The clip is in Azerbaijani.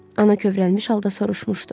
Ana kövrəlmiş halda soruşmuşdu.